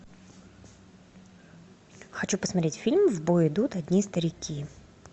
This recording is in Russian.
хочу посмотреть фильм в бой идут одни старики